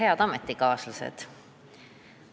Head ametikaaslased!